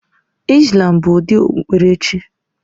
Islam bụ ụdị okpukpere chi